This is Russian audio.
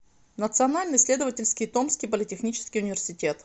национальный исследовательский томский политехнический университет